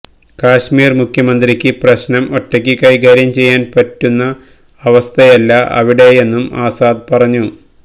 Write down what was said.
കശ്മീര് മുഖ്യമന്ത്രിക്ക് പ്രശ്നം ഒറ്റക്ക് കൈകാര്യം ചെയ്യാന് പറ്റുന്ന അവസ്ഥയല്ല അവിടെയെന്നും ആസാദ് പറഞ്ഞു